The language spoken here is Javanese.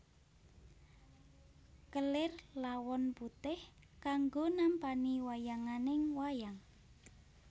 Kelir lawon putih kanggo nampani wayanganing wayang